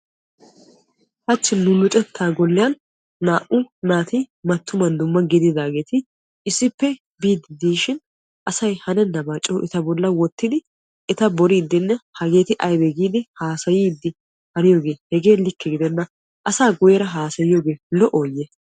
Hachchi nu luxetta golliyan naa"u naati mattuman dumma gidiidaageeti issippe biidi diishin asay hanennaba coo eta bolli wottidi etaa boridinne hageeti aybbe giidi etaa hassayidi diyooge hegee likke gidenna. Asaa guyyeera hassayyiyooge lo"oyye?